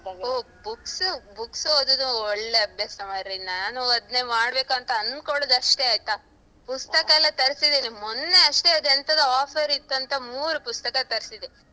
ಓ books ಓದುದು ಒಳ್ಳೆ ಅಭ್ಯಾಸ ಮಾರೆ ನಾನು ಅದ್ನೇ ಮಾಡ್ಬೇಕoತ ಅoದ್ಕೊಳ್ಳುದು ಅಷ್ಟೇ ಆಯ್ತಾ, ಪುಸ್ತಕಯೆಲ್ಲ ತರ್ಸಿದೀನಿ ಮೊನ್ನೆ ಅಷ್ಟೇ ಅದು ಎಂತದೋ offer ತ್ತಂತ ಮೂರ್ ಪುಸ್ತಕ ತರ್ಸಿದೆ.